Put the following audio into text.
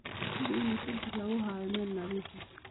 Hubi in ukunta lagu hayo meel nadiif ah.